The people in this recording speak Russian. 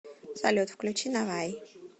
салют включи навай